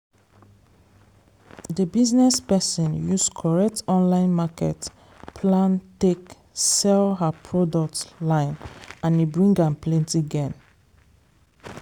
dey business person use correct online market plan take sell her product line and e bring am plenty gain.